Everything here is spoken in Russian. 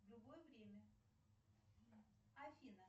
в любое время афина